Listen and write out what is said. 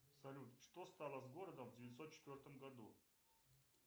салют что стало с городом в девятьсот четвертом году